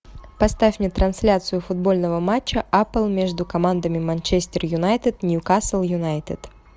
поставь мне трансляцию футбольного матча апл между командами манчестер юнайтед ньюкасл юнайтед